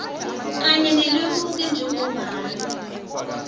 kanye nelemuko njengombana